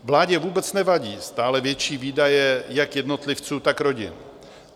Vládě vůbec nevadí stále větší výdaje jak jednotlivců, tak rodin.